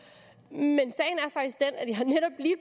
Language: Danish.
ind